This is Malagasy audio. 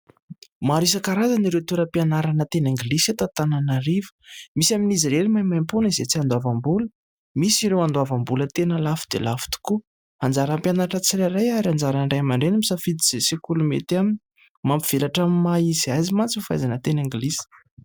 Maro isankarazany ireo toera-pianarana teny anglisy eto Antananarivo. Misy amin'izy ireny maimaimpoana, izay tsy andoavam-bola; misy ireo andoavam-bola tena lafo dia lafo tokoa. Anjaran'ny mpianatra tsirairay, ary anjaran'ny Ray aman-dReny no misafidy izay sekoly mety aminy. Mampivelatra ny maha izy azy mantsy, ny fahaizana ny teny anglisy.